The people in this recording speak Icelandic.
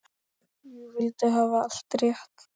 Ég vildi hafa allt rétt.